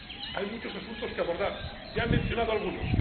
Hay muchos asuntos que abordar, ya he mencionado algunos.